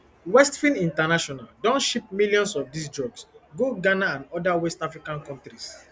westfin international don ship millions of dis drugs go ghana and oda west african kontris